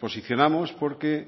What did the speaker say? posicionamos porque